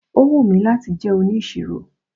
Ó wù mí láti jẹ́ onisiro.